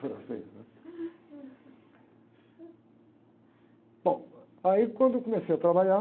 é isso aí, né? Bom, aí quando eu comecei a trabalhar,